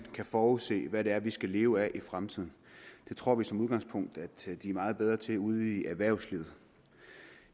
kan forudse hvad det er vi skal leve af i fremtiden det tror vi som udgangspunkt at de er meget bedre til ude i erhvervslivet